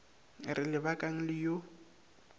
re le bakang le yo